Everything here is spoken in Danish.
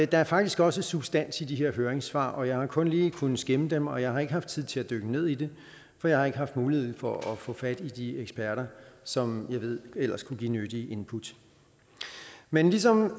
der er faktisk også substans i de her høringssvar og jeg har kun lige kunnet skimme dem og jeg har ikke haft tid til at dykke ned i det for jeg har ikke haft mulighed for at få fat i de eksperter som jeg ved ellers kunne give nyttige input men ligesom